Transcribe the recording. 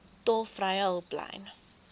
tolvrye hulplyn